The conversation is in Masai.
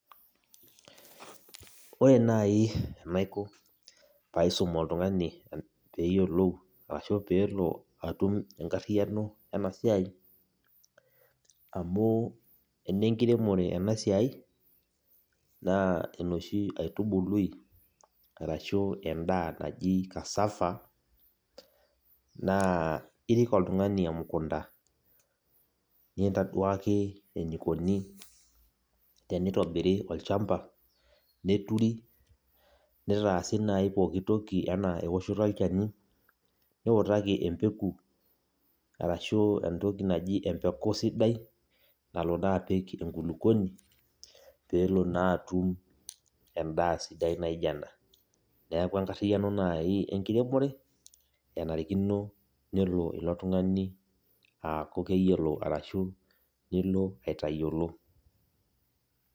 Ore nai enaiko paisum oltung'ani peyiolou, ashu pelo atum enkarriyiano enasiai, amu enenkiremore enasiai, naa enoshi aitubului, arashu endaa naji cassava, naa irik oltung'ani emukunda. Nintaduaki enikoni tenitobiri olchamba, neturi, nitaasi nai pooki toki enaa ewoshoto olchani, niutaki empeku arashu entoki naji empeku sidai, nalo naa apik enkulukuoni ,pelo naa atum endaa sidai naija ena. Neeku enkarriyiano nai enkiremore, enarikino nelo ilo tung'ani aaku keyiolo, arashu nilo aitayiolo.